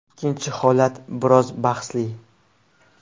Ikkinchi holat biroz bahsli.